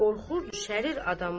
Qorxu düşərir adamların.